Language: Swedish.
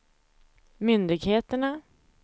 myndigheterna